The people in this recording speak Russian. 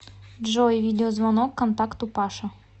джой видеозвонок контакту паша